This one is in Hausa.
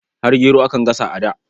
Har gero akan gasa a da.